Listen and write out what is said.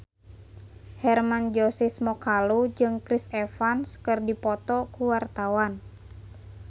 Hermann Josis Mokalu jeung Chris Evans keur dipoto ku wartawan